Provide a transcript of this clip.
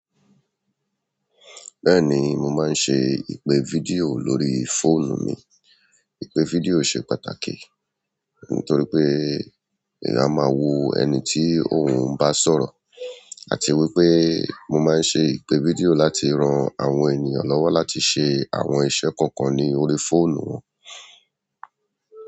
Bẹ́ẹ̀ni mo maa n ṣe ipe video lórí fóònù mi ìpè fídíò ṣe pàtàkì nítorí pé eyan a máa wo ẹni tí òun bá sọ̀rọ̀, àti wípé mo máa ń ṣe ìpè fídíò láti ran àwọn ènìyàn lọ́wọ́ láti ṣe àwọn iṣẹ́ kọ̀ọ̀kan lórí fóònù wọn.